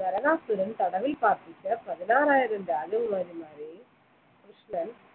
നരകാസുരൻ തടവിൽ പാർപ്പിച്ച പതിനാറായിരം രാജകുമാരിമാരെയും കൃഷ്ണൻ